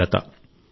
Hemalatha